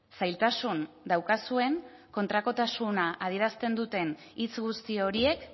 zailtasun daukazuen kontrakotasuna adierazten duten hitz guzti horiek